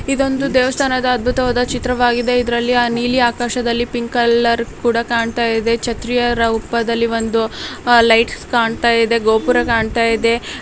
ಇದೊಂದು ದೇವಸ್ಥಾನದ ಅದ್ಭುತವಾದ ಚಿತ್ರವಾಗಿದೆ ಇದ್ರಲ್ಲಿ ನೀಲಿ ಆಕಾಶದಲ್ಲಿ ಪಿಂಕ್ ಕಲರ್ ಕೂಡ ಕಾಣ್ತಾ ಇದೆ ಛತ್ರಿಯ ರೂಪದಲ್ಲಿ ಒಂದು ಆಹ್ಹ್ ಲೈಟ್ಸ್ ಕಾಣ್ತಾ ಇದೆ ಗೋಪುರ ಕಾಣ್ತಾ ಇದೆ.